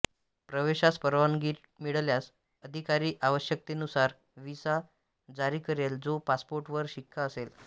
प्रवेशास परवानगी मिळाल्यास अधिकारी आवश्यकतेनुसार व्हिसा जारी करेल जो पासपोर्टवर शिक्का असे